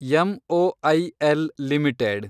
M O I L limited